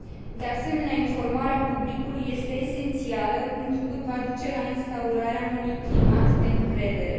De asemenea, informarea publicului este esențială, întrucât va duce la instaurarea unui climat de încredere.